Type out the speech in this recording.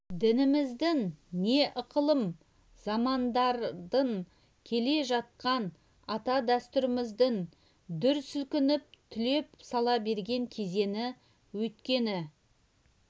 дініміздің не ықылым замандардан келе жатқан ата дәстүріміздің дүр сілкініп түлеп сала берген кезеңі өйткені